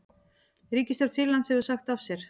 Ríkisstjórn Sýrlands hefur sagt af sér